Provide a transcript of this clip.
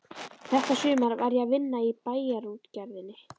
Þetta sumar var ég að vinna í Bæjarútgerðinni.